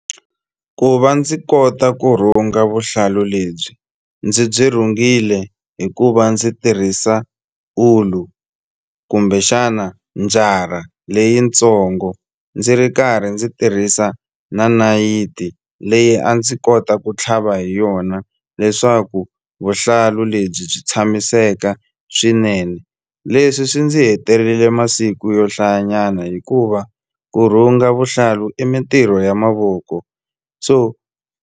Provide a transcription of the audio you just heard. Ku va ndzi kota ku rhunga vuhlalu lebyi ndzi byi rhungile hi ku va ndzi tirhisa ulu kumbexana njara leyitsongo ndzi ri karhi ndzi tirhisa na nayiti leyi a ndzi kota ku tlhava hi yona leswaku vuhlalu lebyi byi tshamiseka swinene leswi swi ndzi hetelele masiku yo hlayanyana hikuva ku rhunga vuhlalu i mintirho ya mavoko so.